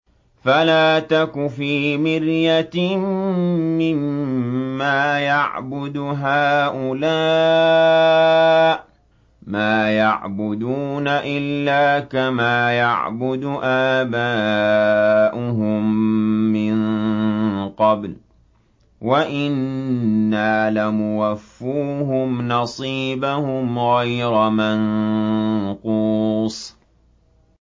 فَلَا تَكُ فِي مِرْيَةٍ مِّمَّا يَعْبُدُ هَٰؤُلَاءِ ۚ مَا يَعْبُدُونَ إِلَّا كَمَا يَعْبُدُ آبَاؤُهُم مِّن قَبْلُ ۚ وَإِنَّا لَمُوَفُّوهُمْ نَصِيبَهُمْ غَيْرَ مَنقُوصٍ